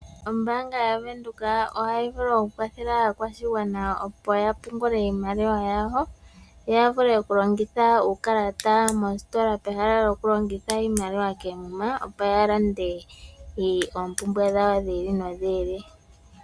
Ombaanga yaVenduka ohayi vulu okukwathela aakwashigwana opo yapungule iimaliwa yawo , yavule okulongitha uukalata mositola pehala lyokulongitha iimaliwa koomuma opo yalande oompumbwe dhawo dhiili nodhili.